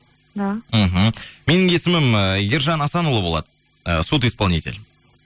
да мхм менің есімім ііі ержан асанұлы болады судиспонитель